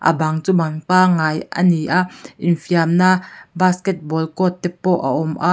a bang chu bang pangai a ni a infiamna basketball court te pawh a awm a.